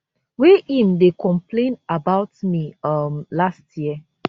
wey im dey complain about me um last year